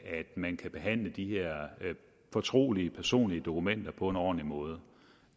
at man kan behandle de her fortrolige personlige dokumenter på en ordentlig måde